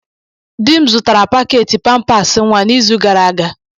Di m zụtara paketị pampasị nwa n'izu gara aga